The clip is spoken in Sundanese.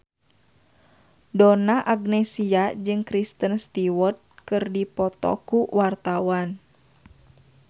Donna Agnesia jeung Kristen Stewart keur dipoto ku wartawan